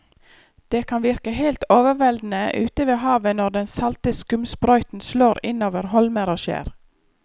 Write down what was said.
Det kan virke helt overveldende ute ved havet når den salte skumsprøyten slår innover holmer og skjær.